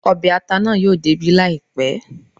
Ọbẹ̀ ata naa yóò dé ibí láìpẹ́